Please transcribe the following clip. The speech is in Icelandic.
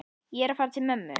Ég er að fara til mömmu.